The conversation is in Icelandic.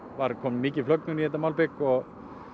var komin mikil flögnun í þetta malbik og